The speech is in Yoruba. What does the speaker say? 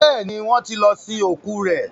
béèni wón tí lọ sin ikú rẹ.